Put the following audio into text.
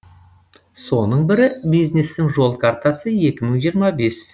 соның бірі бизнестің жол картасы екі мың жиырма бес